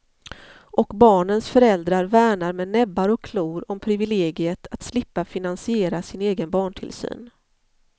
Och barnens föräldrar värnar med näbbar och klor om privilegiet att slippa finasiera sin egen barntillsyn.